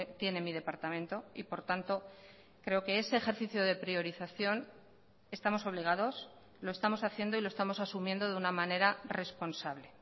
tiene mi departamento y por tanto creo que ese ejercicio de priorización estamos obligados lo estamos haciendo y lo estamos asumiendo de una manera responsable